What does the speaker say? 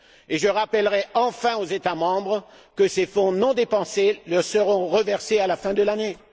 Enfin, je rappellerai aux États membres que les fonds non dépensés leur seront reversés à la fin de l'année.